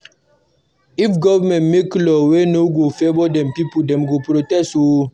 If government make law wey no favour de pipo, dem go protest oo